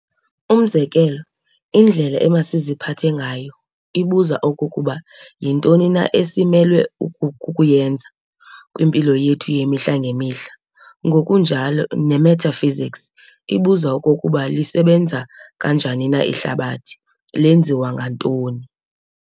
Umzekelo, indlela emasiziphathe ngayo, ibuza okokuba yintoni na esimelwe kukuyenza kwimpilo yethu yemihla ngemihla, ngokunjalo nemetaphysics ibuza okokuba lisebenza kanjani na ihlabathi, lenziwe ngantoni.